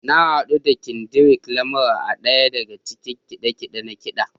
Na hadu da Kendrick Lamar a ɗaya daga cikin kide-kide na ƙida.